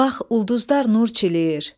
Bax, ulduzlar nur çiləyir.